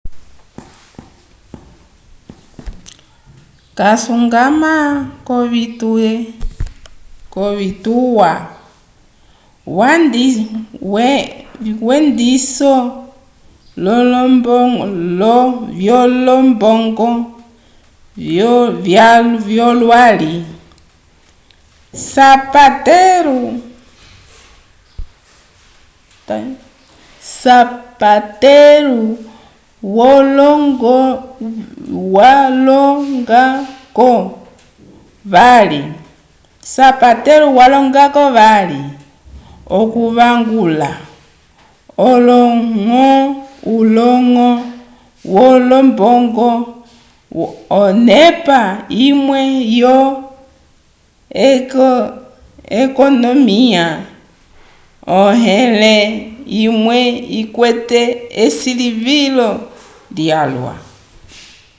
casuñgama k'ovituwa vyendiso vyolombongo vyolwali zapatero walonga-ko vali okuvangula uloñgo wolombongo onepa imwe yo-ekonomiya onẽle imwe ikwete esilivilo lyalwa